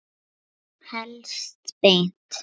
Helst beint.